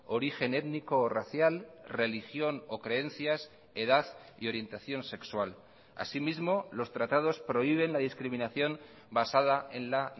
origen étnico o racial religión o creencias edad y orientación sexual asimismo los tratados prohíben la discriminación basada en la